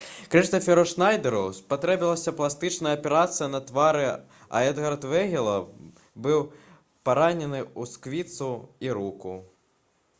крыстаферу шнайдэру спатрэбіцца пластычная аперацыя на твары а эдгар вегіла быў паранены ў сківіцу і руку